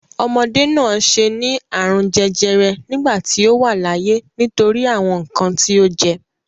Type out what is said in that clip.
Omọdé náà ṣe ní àrùn jẹjẹrẹ nígbà tí ó wà láyé nítorí àwọn nǹkan tí ó jẹ.